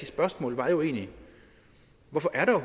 spørgsmål var egentlig hvorfor er der